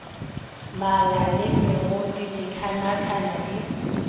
mala le megodu dikhanakhana di